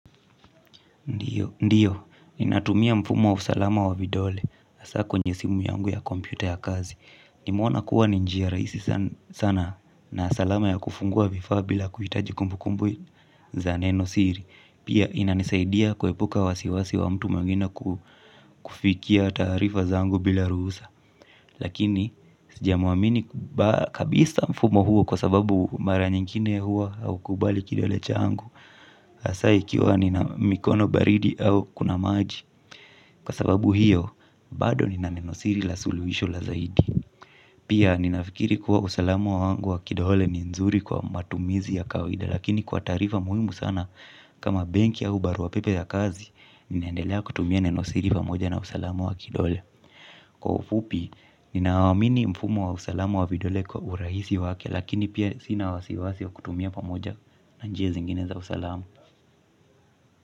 Ndiyo, ndiyo. Ninatumia mfumo wa usalama wa vidole. Hasa kwenye simu yangu ya kompyuta ya kazi. Nimeona kuwa ni njia rahisi sana na salama ya kufungua vifaa bila kuhitaji kumbukumbu za neno siri. Pia inanisaidia kuepuka wasiwasi wa mtu mwingine kufikia taarifa zangu bila ruhusa. Lakini sijamwamini kabisa mfumo huo kwa sababu mara nyingine huwa haukubali kidole changu hasa ikiwa nina mikono baridi au kuna maji. Kwa sababu hiyo bado nina nenosiri la suluhisho la zaidi. Pia ninafikiri kuwa usalamu wangu wa kidole ni nzuri kwa matumizi ya kawaida. Lakini kwa taarifa muhimu sana kama benki au barua pepe ya kazi ninaendelea kutumia nenosiri pamoja na usalamu wa kidole. Kwa ufupi, ninaamini mfumo wa usalamu wa vidole kwa urahisi wake, lakini pia sina wasiwasi wa kutumia pamoja na njia zingine za usalama.